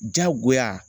Jagoya